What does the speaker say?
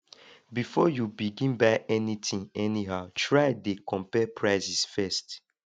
bifor yu begin buy anytin anyhow try dey compare prices first